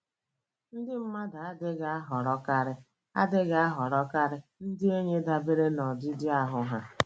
Ndị mmadụ adịghị ahọrọkarị adịghị ahọrọkarị ndị enyi dabere n’ọdịdị ahụ́ ha.